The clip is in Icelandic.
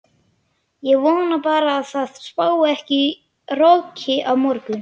Ég vona bara að það spái ekki roki á morgun.